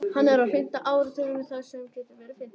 Hann er á fimmta áratugnum þar til hann verður fimmtugur.